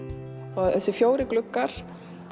og þessir fjórir gluggar